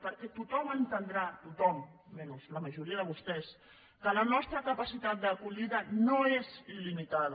perquè tothom entendrà tothom menys la majoria de vostès que la nostra capacitat d’acollida no és il·limitada